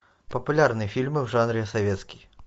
популярные фильмы в жанре советский